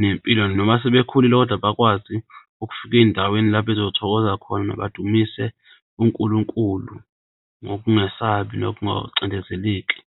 nempilo noma sebekhulile kodwa bakwazi ukufika ey'ndaweni lapho bazothokoza khona badumise uNkulunkulu ngokungesabi nokungacindezeleki.